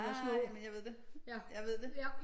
Ah jamen jeg ved det jeg ved det